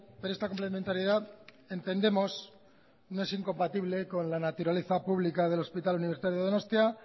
pero esta complementariedad entendemos no es incompatible con la naturaleza pública del hospital universitario de donosti